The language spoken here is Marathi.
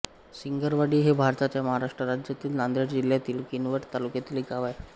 सिंगरवाडी हे भारताच्या महाराष्ट्र राज्यातील नांदेड जिल्ह्यातील किनवट तालुक्यातील एक गाव आहे